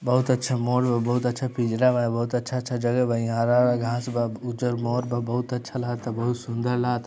बहुत अच्छा मोर बा बहुत अच्छा पिंजरा बा बहुत अच्छा-अच्छा जगह बा यह हरा-हरा घास बा गुज्जर उजर मोर बा बहुत अच्छा लगता बहुत सुंदर लगता।